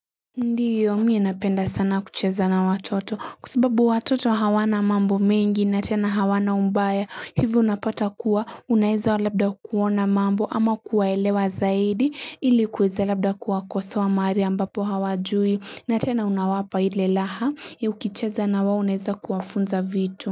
Ndiyo mimi napenda sana kucheza na watoto kwasababu watoto hawana mambo mengi na tena hawana ubaya hivyo unapata kuwa unaeza labda kuona mambo ama kuwaelewa zaidi ili kuweza labda kuwakosoa mahali ambapo hawajui na tena unawapa ile raha ya ukicheza nawao unaeza kuwafunza vitu.